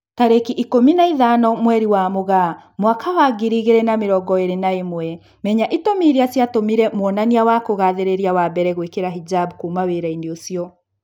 Tarĩki ikũmi na ithano mweri wa Mũgaa mwaka wa ngiri igĩri na mĩrongo ĩri na ĩmwe, Menya itũmi irĩa ciatũmire mwonania wa kugathĩrĩria wa mbere gwĩkira hijab "kuma wĩra-inĩ ucio"